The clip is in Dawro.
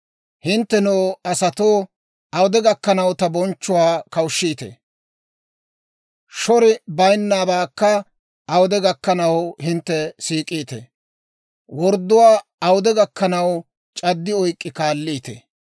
Hinttenoo asatoo, awude gakkanaw ta bonchchuwaa kawushshiitee? Shori bayinnabaakka awude gakkanaw hintte siik'iitee? Wordduwaa awude gakkanaw c'addi oyk'k'i kaalliitee?